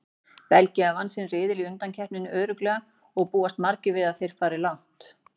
Belgía vann sinn riðil í undankeppninni örugglega og búast margir við að þeir fari langt.